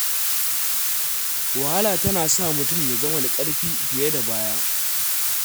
Wahala tana sa mutum ya zama da ƙarfi fiye da baya.